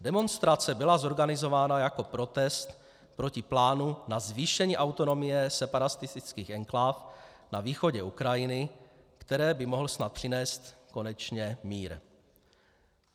Demonstrace byla zorganizována jako protest proti plánu na zvýšení autonomie separatistických enkláv na východě Ukrajiny, které by mohl snad přinést konečně mír.